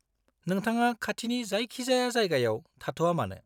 नोंथाङा खाथिनि जायखिजाया जायगायाव थाथ'आ मानो?